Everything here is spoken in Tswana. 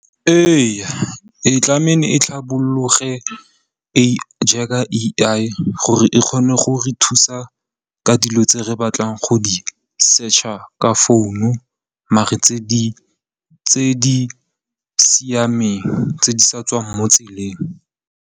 Ee tlameile e tlhabologe jaaka A_I gore e kgone go re thusa ka dilo tse re batlang go di search-a ka phone maar tse di siameng tse di sa tswang mo tseleng.